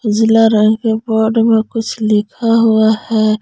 Board में कुछ लिखा हुआ है।